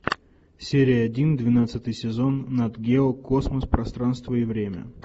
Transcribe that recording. серия один двенадцатый сезон нат гео космос пространство и время